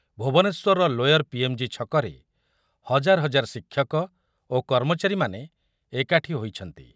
ଭୁବନେଶ୍ୱରର lower PMG ଛକରେ ହଜାର ହଜାର ଶିକ୍ଷକ ଓ କର୍ମଚାରୀମାନେ ଏକାଠି ହୋଇଛନ୍ତି ।